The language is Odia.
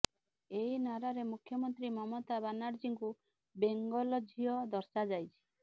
ଏହି ନାରାରେ ମୁଖ୍ୟମନ୍ତ୍ରୀ ମମତା ବାନାର୍ଜୀଙ୍କୁ ବେଙ୍ଗଲ ଝିଅ ଦର୍ଶାଯାଇଛି